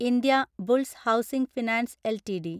Indiabulls housing finance LTD